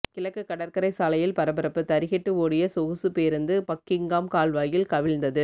கிழக்கு கடற்கரை சாலையில் பரபரப்பு தறிகெட்டு ஓடிய சொகுசு பேருந்து பக்கிங்காம் கால்வாயில் கவிழ்ந்தது